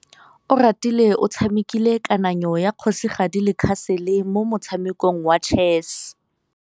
Oratile o tshamekile kananyô ya kgosigadi le khasêlê mo motshamekong wa chess.